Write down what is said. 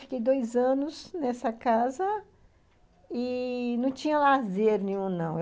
Fiquei dois anos nessa casa e não tinha lazer nenhum, não.